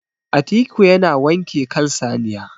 atiku yana wanke kan saniya